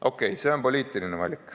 Okei, see on poliitiline valik.